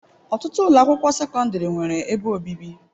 Ọtụtụ ụlọ akwụkwọ sekọndrị nwere ebe obibi.